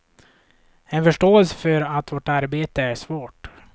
En förståelse för att vårt arbete är svårt.